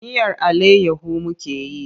Miyar allayyahu muke yi.